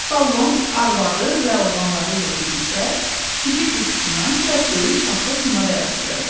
Çipollon arvadı və oğlanları ilə birlikdə şitil qutusundan biraz böyük taxta komada yaşayırdı.